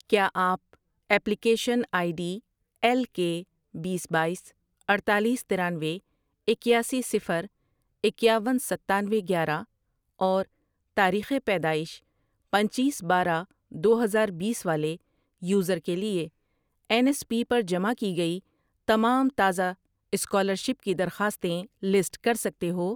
کیا آپ application ID ایل کے، بیس، بایس، اڈتالیس، ترانوے، اکیاسی، صفر، اکیاون، ستانوے، گیارہ اور تاریخ پیدائش پنچیس ۔ بارہ ۔ دو ہزاربیس والے یوزر کے لیے این ایس پی پر جمع کی گئی تمام تازہ اسکالرشپ کی درخواستیں لسٹ کر سکتے ہو